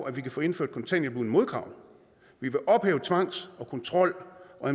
at vi kan få indført kontanthjælp uden modkrav vi vil ophæve tvangs kontrol og